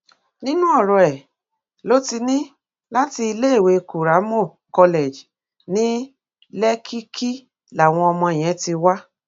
nínú ọrọ ẹ ló ti ní láti iléèwé kuramo college ní lèkìkí làwọn ọmọ yẹn ti wá